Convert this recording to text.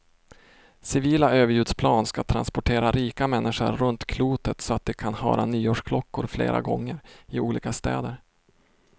Civila överljudsplan ska transportera rika människor runt klotet så de kan höra nyårsklockor flera gånger, i olika städer.